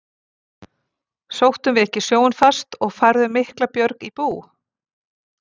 Sóttum við ekki sjóinn fast og færðum mikla björg í bú?